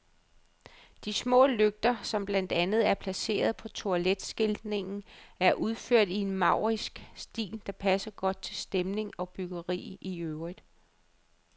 De små lygter, som blandt andet er placeret på toiletskiltningen, er udført i en maurisk stil, der passer godt til stemning og byggeri i øvrigt.